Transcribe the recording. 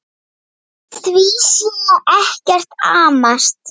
Við því sé ekkert amast.